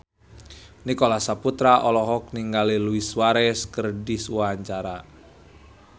Nicholas Saputra olohok ningali Luis Suarez keur diwawancara